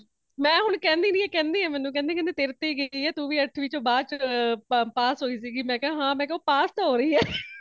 ਮੈ ਹੁਣ ਕੇਂਦੀ ਨਹੀਂ ,ਇਹ ਕੇਂਦੇ ਨੇ ਮੈਨੂੰ ਕੇਂਦੇ ਨੇ ਇਹ ਤੇਰੇ ਤੇ ਗਈ ਹੈ ,ਤੂੰਵੀ ਅੱਠਵੀ ਵਿਚ ਬਾਦ ਚੋ pass ਹੋਇ ਸੀਗੀ ,ਮੈ ਕਿਆ ਹਾ ਉਹ pass ਤੇ ਹੋਈ ਹੈ